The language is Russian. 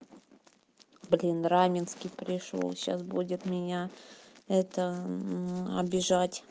блин раменский пришёл сейчас будет меня это обижать